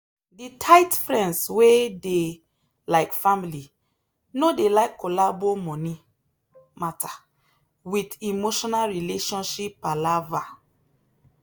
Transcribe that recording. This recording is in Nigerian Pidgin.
the tight friends wey dey like family no dey like collabo money matter with emotional relationship palava.